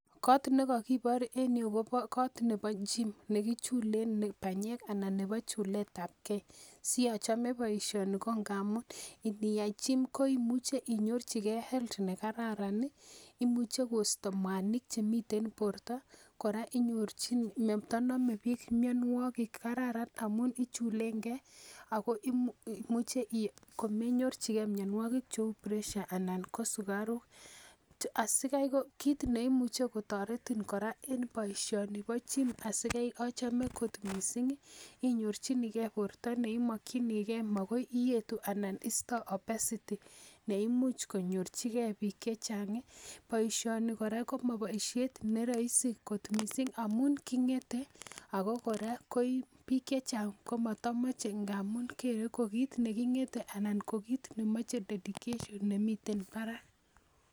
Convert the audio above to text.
Kot nekokibor en yuu kobo kot nebo gym nekichulen banyek anan nebo chuletab gee siochome boisioni ko ngamun niyai gym koimuche inyorchigee health nekararan ih imuche Kosta mwanik chemiten borto kora inyorchin matonome biik mionwogik kararan amun ichulen gee ako imuche komenyorchigee mionwogik cheu pressure anan ko sukaruk. Asikai ko kit neyoe kotoretin kora en boisioni bo gym asikai achome kot missing inyorchigee borto neimokyinigee makoi iyetu ana istoo obesity neimuch konyorchigee biik chechang. Boisioni kora koma boisiet ne roisi amun king'ete ako kora biik chechang komotomoche amun kere ko kit neking'ete anan ko kit nemoche dedication nemiten barak